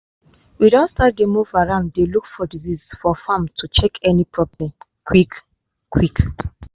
we don start dey move around dey look for disease for farm to check any problem quick-quick.